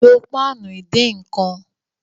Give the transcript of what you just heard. Lo páànù ìdínkan!